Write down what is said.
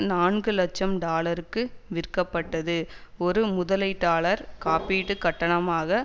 நான்கு இலட்சம் டாலருக்கு விற்கப்பட்டது ஒரு முதலீட்டாளர் காப்பீட்டு கட்டணமாக